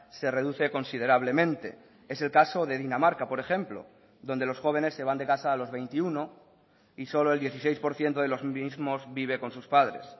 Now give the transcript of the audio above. se reduce considerablemente es el caso de dinamarca por ejemplo donde los jóvenes se van de casa a los veintiuno y solo el dieciséis por ciento de los mismos vive con sus padres